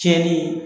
Tiɲɛni